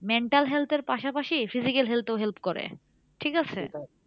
Mental health এর পাশাপাশি physical health ও help করে ঠিক আছে?